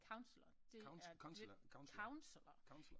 Kansler det er kansler